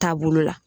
Taabolo la